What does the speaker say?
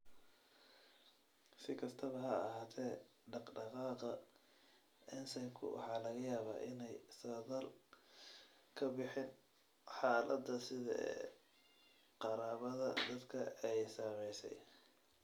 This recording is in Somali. Si kastaba ha ahaatee, dhaqdhaqaaqa ensaymku waxa laga yaabaa inaanay saadaal ka bixin xaaladda side ee qaraabada dadka ay saamaysay.